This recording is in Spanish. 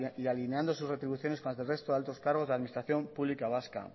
y alineando sus retribuciones con las del resto de altos cargos de la administración pública vasca